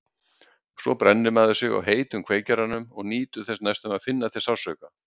Svo brennir maður sig á heitum kveikjaranum og nýtur þess næstum að finna til sársauka.